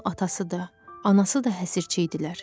Onun atası da, anası da həsirçi idilər.